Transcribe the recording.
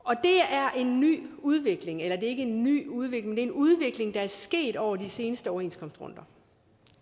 er en ny udvikling eller det er ikke en ny udvikling er en udvikling der er sket over de seneste overenskomstrunder